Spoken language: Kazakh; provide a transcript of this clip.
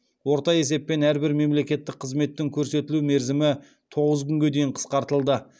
орта есеппен әрбір мемлекеттік қызметтің көрсетілу мерзімі тоғыз күнге дейін қысқартылды